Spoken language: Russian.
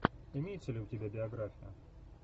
имеется ли у тебя биография